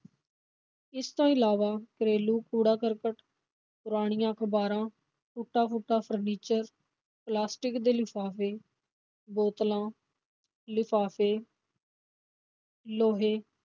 ਇਸ ਤੋਂ ਇਲਾਵਾ ਘਰੇਲ ਕੂੜਾ-ਕਰਕਟ, ਪੁਰਾਣੀਆਂ ਅਖ਼ਬਾਰਾਂ, ਟੁੱਟਾ-ਫੁੱਟਾ furniture ਪਲਾਸਟਿਕ ਦੇ ਲਿਫਾਫੇ, ਬੋਤਲਾਂ, ਲਿਫਾਫੇ ਲੋਹੇ,